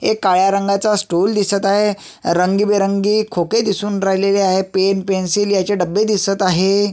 एक काळ्या रंगाच स्टूल दिसत आहे रंगबेरंगी खोके दिसून राहिलेले आहे पेन पेन्सिल ह्याचे डब्बे दिसत आहे.